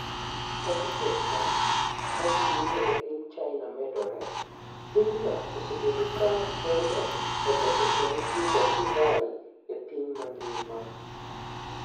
Kaka pesa ma ji yudo e piny China medore, pinyno osebedo ka telo e loso kendo tiyo kod divai e piny mangima.